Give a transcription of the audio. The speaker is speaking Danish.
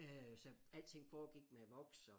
Øh så alting alting foregik med voks og